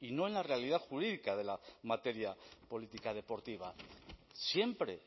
y no en la realidad jurídica de la materia política deportiva siempre